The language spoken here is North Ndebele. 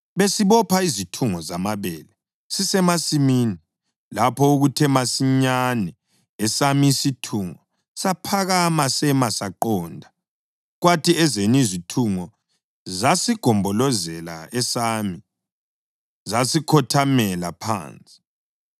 besibopha izithungo zamabele sisemasimini lapho okuthe masinyane esami isithungo saphakama sema saqonda, kwathi ezenu izithungo zasigombolozela esami, zasikhothamela phansi.”